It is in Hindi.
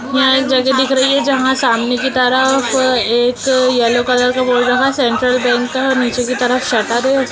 यहां एक जगह दिख रही है जहाँ सामने की तरफ एक येलो कलर का बोर्ड लगा सेंट्रल बैंक का नीचे की तरफ शटर है।